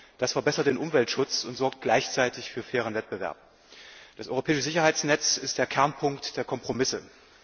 Das verbessert den Umweltschutz und sorgt gleichzeitig für fairen Wettbewerb. Das europäische Sicherheitsnetz ist der Kernpunkt der Kompromisse.